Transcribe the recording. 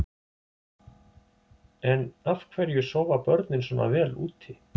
En af hverju sofa börnin svona vel úti?